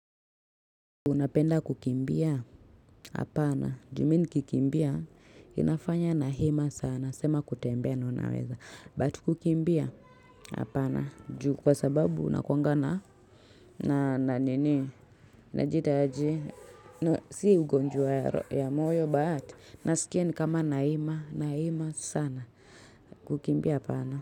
Unapenda kukimbia?, apana, juu mimi nikikimbia, inafanya nahema sana, sema kutembea ndo naweza, but kukimbia, apana, juu kwa sababu nakuangana, na na nini, na inajiita aje si ugonjwa ya moyo, but, nasikia ni kama nahima, nahema sana, kukimbia apana.